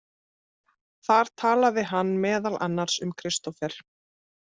Þar talaði hann meðal annars um Kristófer.